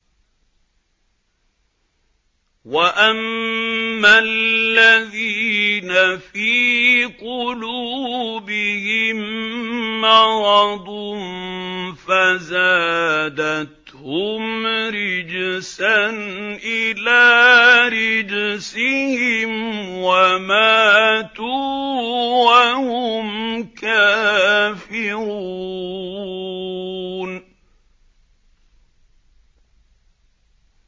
وَأَمَّا الَّذِينَ فِي قُلُوبِهِم مَّرَضٌ فَزَادَتْهُمْ رِجْسًا إِلَىٰ رِجْسِهِمْ وَمَاتُوا وَهُمْ كَافِرُونَ